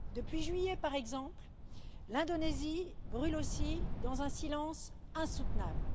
Depuis juillet, par exemple, l'Indonésie brûle aussi dans un silence insoutenable.